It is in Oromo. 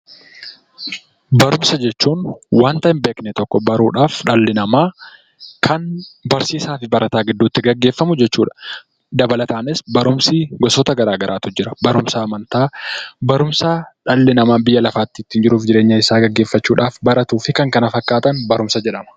Barumsa jechuun wanta hinbeekne tokko beekuudhaaf dhalli namaa kan barsiisaaf barataa gidduutti gaggeeffamu jechuudha. Dabalataanis barumsi gosa gara garaatu jira. Barumsa amantaa, barumsa dhalli namaa waan biyya lafaa ittiin jiruu isaa gaggeeffachuudhaaf baratuufi kan kana fakkaatuan barumsa jedhamu.